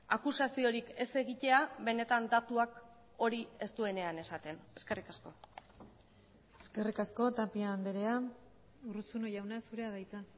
akusaziorik ez egitea benetan datuak hori ez duenean esaten eskerrik asko eskerrik asko tapia andrea urruzuno jauna zurea da hitza